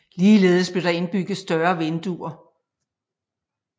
Ligeledes blev der indbygget større vinduer